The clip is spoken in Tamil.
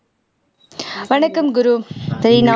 வணக்கம் குரு ரீனா